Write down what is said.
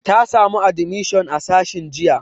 Ta samu admishon a sashin jinya.